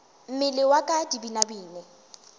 mmele wa ka di binabine